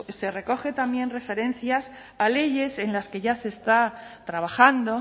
se recogen también referencias a leyes en las que ya se está trabajando